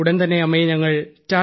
ഉടൻതന്നെ അമ്മയെ ഞങ്ങൾ